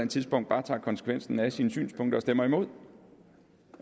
tidspunkt bare tager konsekvensen af sine synspunkter og stemmer imod